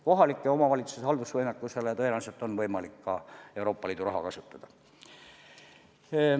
Kohalike omavalitsuste haldusvõimekuse parandamiseks tõenäoliselt on võimalik ka Euroopa Liidu raha kasutada.